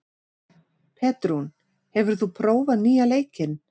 Petrún, hefur þú prófað nýja leikinn?